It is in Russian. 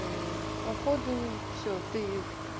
походу всё ты